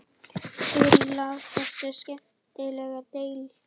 Sér í lagi í þessari skemmtilegu deild.